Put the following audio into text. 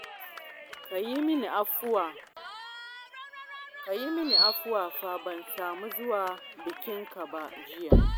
Ka yi min afuwa fa, ban samu zuwa bikinka ba jiya